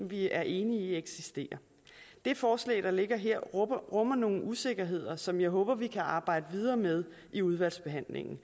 vi er enige i eksisterer det forslag der ligger her rummer nogle usikkerheder som jeg håber vi kan arbejde videre med i udvalgsbehandlingen